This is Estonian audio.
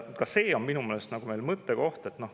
Ka see on minu meelest mõttekoht.